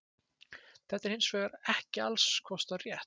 þetta er hins vegar ekki alls kostar rétt